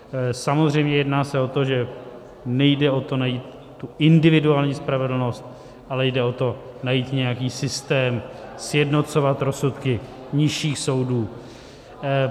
Samozřejmě jedná se o to, že nejde o to najít tu individuální spravedlnost, ale jde o to najít nějaký systém, sjednocovat rozsudky nižších soudů.